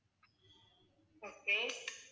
okay